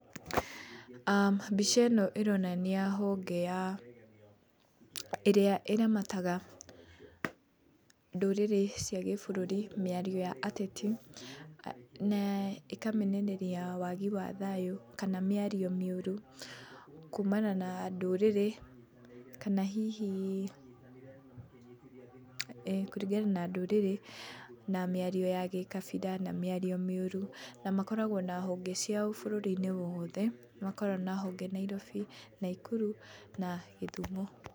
Mbica ĩno ĩronania honge ya, ĩrĩa ĩramataga ndũrĩrĩ cia gĩbũrũri mĩario ya ateti na ĩkamenereria wagi wa thayũ kana mĩario mĩũru kumana na ndũrĩrĩ, kana hihi kũringana na ndũrĩrĩ na mĩario ya gĩkabira na mĩario mĩũru. Na makoragwo na honge ciao bũrũri-inĩ wothe nĩ makoragwo na honge Nairobi, Naikuru na Gĩthumo.